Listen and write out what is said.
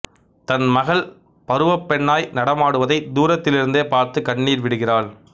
தன் மகள் பருவப்பெண்ணாய் நடமாடுவதை தூரத்திலிருந்தே பார்த்து கண்ணீர் விடுகிறாள்